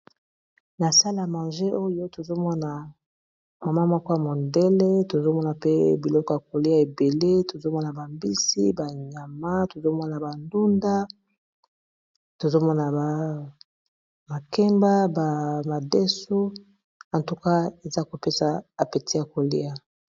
Na salle a manger oyo tozomona mama moko ya mondele tozomona pe biloko ya kolia ebele tozomona ba mbisi, ba nyama, tozomona ba ndunda, tozomona ba makemba, ba madesu atuka eza kopesa apeti ya kolia.